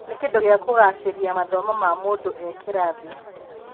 Nĩ kĩndũ gĩa kũgacĩria mathomo ma mũndũ e kĩrathi.